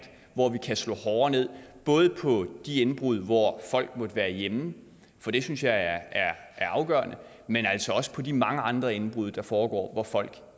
hvor vi kan slå hårdere ned både på de indbrud hvor folk måtte være hjemme for det synes jeg er afgørende men altså også på de mange andre indbrud der foregår når folk